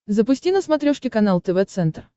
запусти на смотрешке канал тв центр